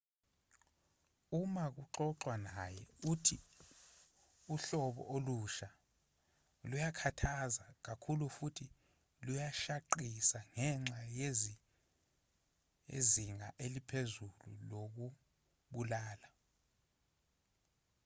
uma kuxoxwa naye uthe uhlobo olusha luyakhathaza kakhulu futhi luyashaqisa ngenxa yezinga eliphezulu lokubulala